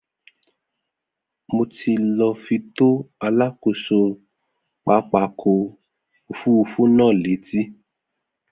Mo ti lọ fi tó alákòso pápákọ̀ òfurufú náà létí